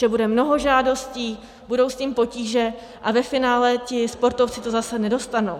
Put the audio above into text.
Že bude mnoho žádostí, budou s tím potíže a ve finále ti sportovci to zase nedostanou.